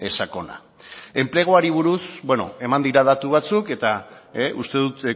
sakona enpleguari buruz eman dira datu batzuk eta uste dut